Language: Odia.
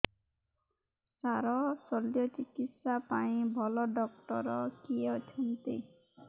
ସାର ଶଲ୍ୟଚିକିତ୍ସା ପାଇଁ ଭଲ ଡକ୍ଟର କିଏ ଅଛନ୍ତି